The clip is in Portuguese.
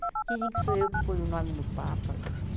Dizem que sou eu que pôe o nome no Papa.